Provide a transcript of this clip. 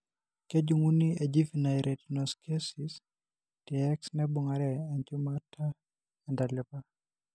Kejung'uni enjuvenile retinoschisis te X naibung'are enchumata entalipa.